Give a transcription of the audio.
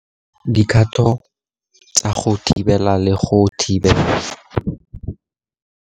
Dikgato tsa go thibela le go thibela.